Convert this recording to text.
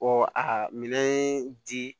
a minɛn ye di